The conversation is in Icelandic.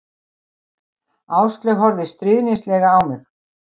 Áslaug horfði stríðnislega á mig.